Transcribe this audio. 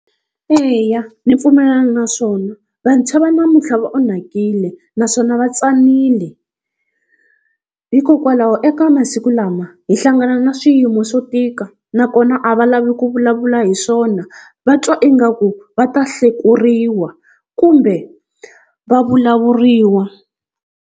Eya ni pfumelana naswona, vantshwa va namuntlha va onhakile naswona va tsanile. Hikokwalaho eka masiku lama hi hlangana na swiyimo swo tika nakona a va lavi ku vulavula hi swona va twa ingaku va ta hlekuriwa kumbe va vulavuriwa.